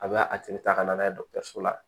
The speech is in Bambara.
A bɛ a tigi ta ka na n'a ye dɔgɔtɔrɔso la